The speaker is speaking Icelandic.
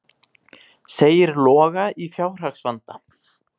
Segir Loga í fjárhagsvanda